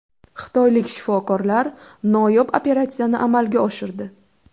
Xitoylik shifokorlar noyob operatsiyani amalga oshirdi.